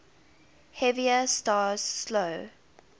heavier stars slow